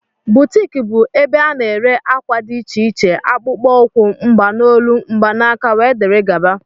Boutiki bụ ebe ana ere àkwà dị iche iche, akpụkpọ ukwu, mgbanolu, mgbanaka wdg.